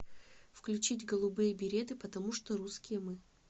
включить голубые береты потому что русские мы